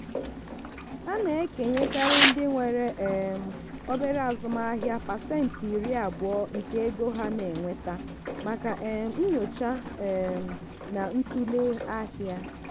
a na-ekenyekarị ndị nwere um obere azụmaahịa pasentị iri abụọ nke ego ha na-enweta maka um nyocha um na ntụle ahịa.